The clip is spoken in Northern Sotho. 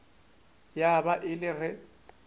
ya ba e le ge